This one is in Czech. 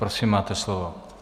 Prosím máte slovo.